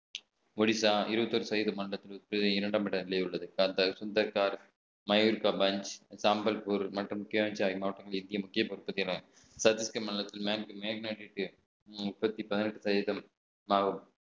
ஒடிசா இருபத்தி ஒரு சதவீத இரண்டாம் இடத்திலே உள்ளது அந்த சுந்தர் கார் மயில் கம்பஞ் சாம்பல்பூர் மற்றும் முக்கிய பொறுப்புகள்